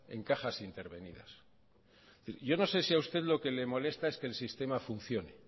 en cajas intervenidas es decir yo no sé si a usted lo que le molesta es que el sistema funcione